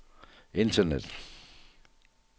internet